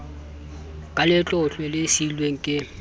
ka letlotlo le siilweng ke